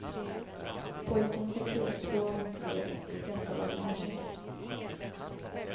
Pojken sökte upp två av de tre och dessa bad om ursäkt.